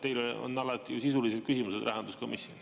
Teil on alati ju sisulised küsimused rahanduskomisjonis.